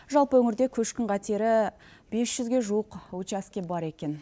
жалпы өңірде көшкін қатері мол бес жүзге жуық учаске бар екен